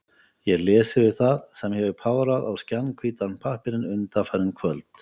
Ég les yfir það, sem ég hef párað á skjannahvítan pappírinn undanfarin kvöld.